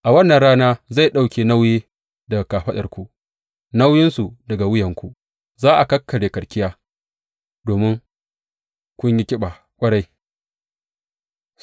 A wannan rana zai ɗauke nauyi daga kafaɗarku, nauyinsu daga wuyanku; za a karye karkiya domin kun yi ƙiba ƙwarai.